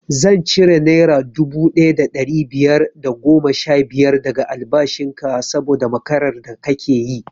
Zan cire naira dubu ɗaya da ɗari biyar da goma sha biyar daga albashin ka saboda makarar da kake yi